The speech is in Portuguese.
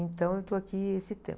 Então eu estou aqui esse tempo.